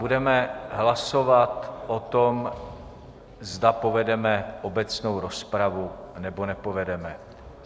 Budeme hlasovat o tom, zda povedeme obecnou rozpravu, nebo nepovedeme.